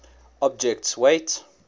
object s weight